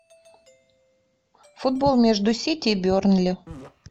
футбол между сити и бернли